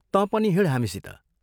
तँ पनि हिँड् हामीसित।